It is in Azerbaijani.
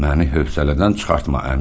Məni hövsələdən çıxartma, Əminə.